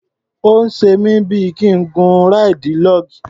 Ó ń ṣe mí bí i kí n gun ráìdì log.